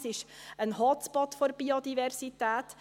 Es ist ein Hotspot der Biodiversität.